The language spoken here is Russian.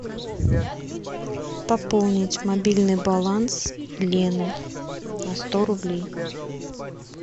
пополнить мобильный баланс лены на сто рублей